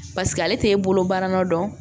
Paseke ale t'e bolo baara nɔ don